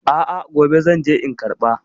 A a, gobe zan je in karɓa.